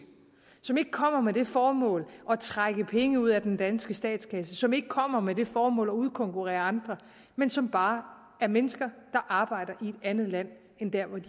som ikke kommer med det formål at trække penge ud af den danske statskasse som ikke kommer med det formål at udkonkurrere andre men som bare er mennesker arbejder i et andet land end dér hvor de